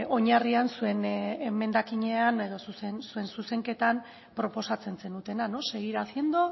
oinarrian zuen emendakinean edo zuen zuzenketan proposatzen zenutena seguir haciendo